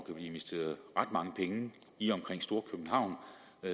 investeret ret mange penge i og omkring storkøbenhavn